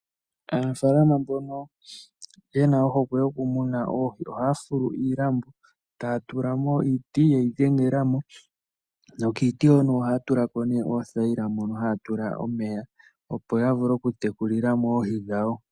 Aanafalama mbono yena ohokwe yoku muna oohi ohaya fulu iilambo taya tula mo iiti yeyi dhengelemo. Kiiti ohaya tula ko oohayila mono haya tula omeya, opo ya vule okutekulila mo oohi dhawo.